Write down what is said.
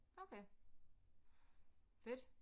Okay fedt